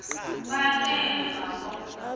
bakhe emva ko